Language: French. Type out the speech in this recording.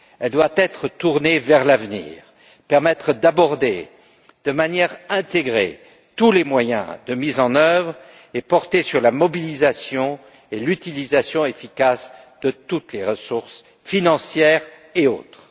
Elle doit être tournée vers l'avenir, permettre d'aborder de manière intégrée tous les moyens de mise en œuvre et porter sur la mobilisation et l'utilisation efficace de toutes les ressources financières et autres.